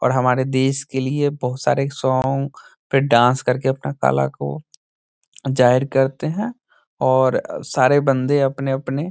और हमरे देश के लिए बहुत सारे सोंग और फिर डांस करके अपने कला को जाहिर करते है और सारे बन्दे अपने-अपने --